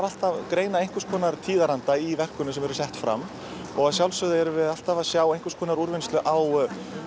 alltaf greina einhvers konar tíðaranda í verkunum sem eru sett fram að sjálfsögðu erum við alltaf að sjá einhvers konar úrvinnslu á